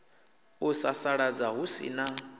u sasaladza hu si na